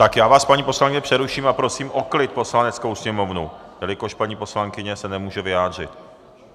Tak já vás, paní poslankyně, přeruším, a prosím o klid Poslaneckou sněmovnu, jelikož paní poslankyně se nemůže vyjádřit.